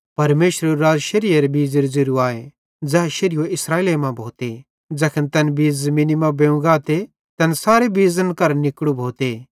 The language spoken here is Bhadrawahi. परमेशरेरू राज़ शेरीएरे बीज़ेरू ज़ेरू आए ज़ै शेरीयो इस्राएले मां भोते ज़ैखन तैन बीज़ ज़मीनी मां बेव गाते तैन सारे बीज़न केरां निकड़ू भोते